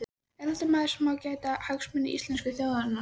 Er þetta maður sem á að gæta hagsmuna íslensku þjóðarinnar?